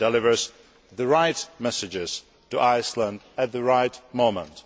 It delivers the right messages to Iceland at the right moment.